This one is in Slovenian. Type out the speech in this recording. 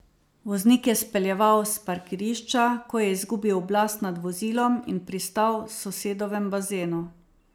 Voznik je speljeval s parkirišča, ko je izgubil oblast nad vozilom in pristal v sosedovem bazenu.